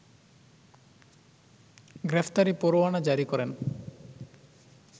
গ্রেফতারি পরোয়ানা জারি করেন